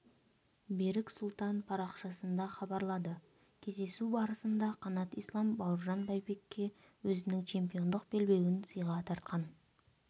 берік сұлтан парақшасында хабарлады кездесу барысында қанат ислам бауыржан байбекке өзінің чемпиондық белбеуін сыйға тартқан